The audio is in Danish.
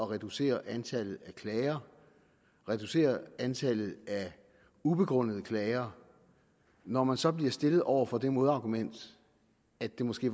reducere antallet af klager reducere antallet af ubegrundede klager når man så bliver stillet over for det modargument at det måske